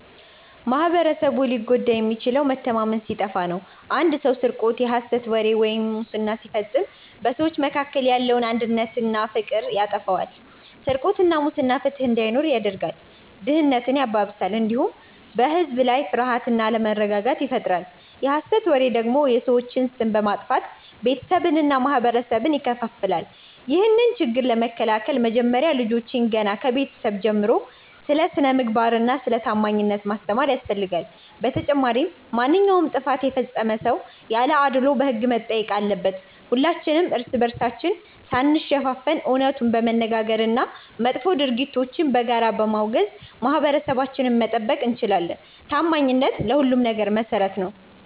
ማኅበረሰቡ ሊጎዳ የሚችለው መተማመን ሲጠፋ ነው። አንድ ሰው ስርቆት፣ የሐሰት ወሬ ወይም ሙስና ሲፈጽም በሰዎች መካከል ያለውን አንድነትና ፍቅር ያጠፋዋል። ስርቆትና ሙስና ፍትሕ እንዳይኖር ያደርጋል፣ ድህነትን ያባብሳል፣ እንዲሁም በሕዝብ ላይ ፍርሃትና አለመረጋጋትን ይፈጥራል። የሐሰት ወሬ ደግሞ የሰዎችን ስም በማጥፋት ቤተሰብንና ማኅበረሰብን ይከፋፍላል። ይህንን ችግር ለመከላከል መጀመሪያ ልጆችን ገና ከቤተሰብ ጀምሮ ስለ ስነ-ምግባርና ስለ ታማኝነት ማስተማር ያስፈልጋል። በተጨማሪም ማንኛውም ጥፋት የፈጸመ ሰው ያለ አድልዎ በሕግ መጠየቅ አለበት። ሁላችንም እርስ በርሳችን ሳንሸፋፈን እውነቱን በመነጋገርና መጥፎ ድርጊቶችን በጋራ በማውገዝ ማኅበረሰባችንን መጠበቅ እንችላለን። ታማኝነት ለሁሉም ነገር መሠረት ነው።